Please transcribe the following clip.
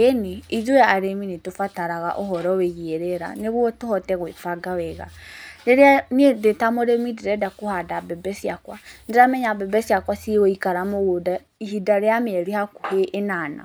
Ĩĩni ithuĩ arĩmi nĩ tũbataraga uhoro wĩgĩa rĩera nĩguo tũhote gwĩbanga wega. Rĩrĩa niĩ ndĩ ta mũrĩmi ndĩrenda kũhanda mbembe cĩakwa nĩ ndĩramenya mbembe cĩakwa ciĩ gũikara mũgũnda ihinda rĩa mĩeri hakũhĩ ĩnana.